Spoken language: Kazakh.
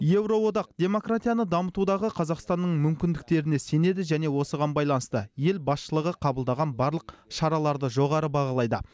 еуроодақ демократияны дамытудағы қазақстанның мүмкіндіктеріне сенеді және осыған байланысты ел басшылығы қабылдаған барлық шараларды жоғары бағалайды